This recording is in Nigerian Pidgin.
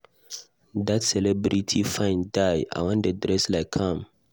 Dat celebrity fine die, I wan dey dress like am